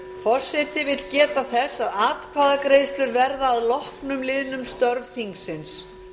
forseti vill geta þess að atkvæðagreiðslur verða að loknum liðnum störf þingsins